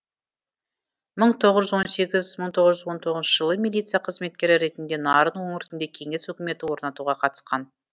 мың тоғыз жүз он сегіз мың тоғыз жүз он тоғызыншы жылы милиция қызметкері ретінде нарын өңірінде кеңес өкіметін орнатуға қатысқан